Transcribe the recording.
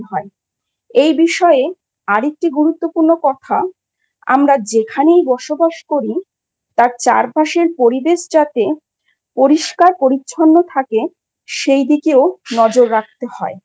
এই বিষয়ে আর একটি গুরুত্বপূর্ণ কথা আমরা যেখানেই বসবাস করি তার চারপাশের পরিবেশ যাতে পরিষ্কার পরিচ্ছন্ন থাকে সেই দিকেও নজর রাখতে হয়।